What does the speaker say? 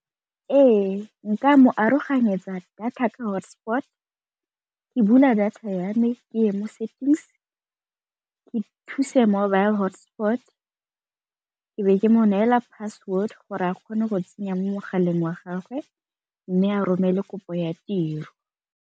Ee, nka mo aroganyetsa data ka hotspot, ke bula data ya me ke ye mo settings, ke mobile hotspot ke be ke mo neela password gore a kgone go tsenya mo mogaleng wa gagwe mme a romele kopo ya tiro.